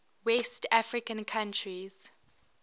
west african countries